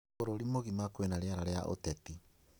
Bũrũri mũgima kwĩna rĩera rĩa ũteti